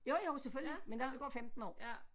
Jo jo selvfølgelig men der ville gå 15 år